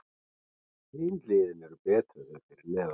Hin liðin eru betri en þau fyrir neðan.